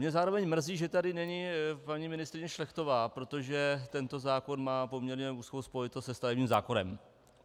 Mě zároveň mrzí, že tady není paní ministryně Šlechtová, protože tento zákon má poměrně úzkou spojitost se stavebním zákonem.